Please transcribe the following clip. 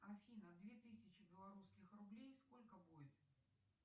афина две тысячи белорусских рублей сколько будет